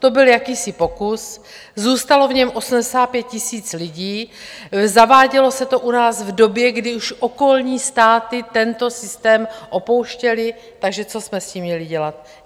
To byl jakýsi pokus, zůstalo v něm 85 000 lidí, zavádělo se to u nás v době, kdy už okolní státy tento systém opouštěly, takže co jsme s tím měli dělat?